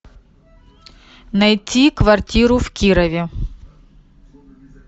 найти квартиру в кирове